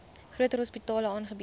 groter hospitale aangebied